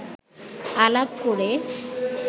আলাপ করে